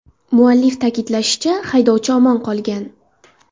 Muallif ta’kidlashicha, haydovchi omon qolgan.